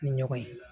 Ni ɲɔgɔn ye